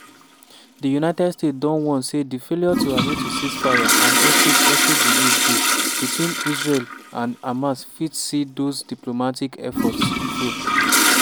di united states don warn say di failure to agree to ceasefireand hostage hostage release deal between israel and hamas fit see those diplomatic efforts fail.